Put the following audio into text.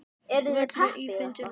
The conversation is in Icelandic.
Völlur í fínu standi.